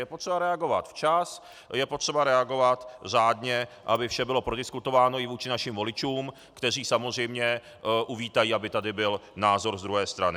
Je potřeba reagovat včas, je potřeba reagovat řádně, aby vše bylo prodiskutováno i vůči našim voličům, kteří samozřejmě uvítají, aby tady byl názor z druhé strany.